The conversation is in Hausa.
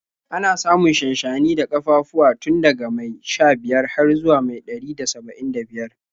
Ana samun shanshani da ƙafafuwa tun daga mai sha-biyar har zuwa mai ɗari da saba'in da biyar.